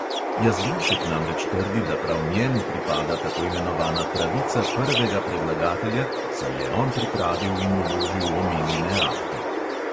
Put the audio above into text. Jazbinšek namreč trdi, da prav njemu pripada tako imenovana pravica prvega predlagatelja, saj je on pripravil in vložil omenjene akte.